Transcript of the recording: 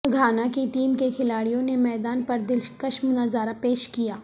Ghana کی team کے کھلاڑیوں نے میدان پر دلکش نظارہ پیش کیا